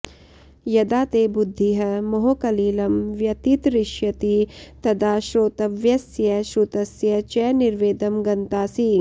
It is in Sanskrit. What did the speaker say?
यदा ते बुद्धिः मोहकलिलं व्यतितरिष्यति तदा श्रोतव्यस्य श्रुतस्य च निर्वेदं गन्तासि